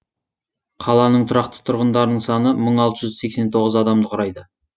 қаланың тұрақты тұрғындарының саны мың алты жүз сексен тоғыз адамды құрайды